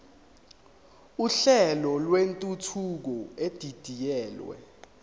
uhlelo lwentuthuko edidiyelwe